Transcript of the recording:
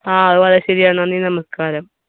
ആ നന്ദി നമസ്കാരം